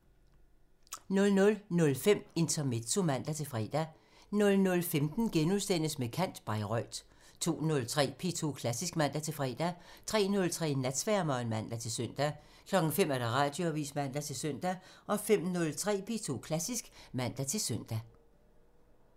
00:05: Intermezzo (man-fre) 00:15: Med kant – Bayreuth * 02:03: P2 Klassisk (man-fre) 03:03: Natsværmeren (man-søn) 05:00: Radioavisen (man-søn) 05:03: P2 Klassisk (man-søn)